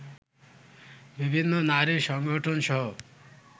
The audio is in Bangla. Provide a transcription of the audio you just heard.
বিভিন্ন নারী সংগঠনসহ